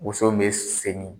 Woso bɛ segin